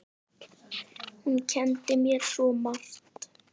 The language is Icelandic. Hún kenndi mér svo margt.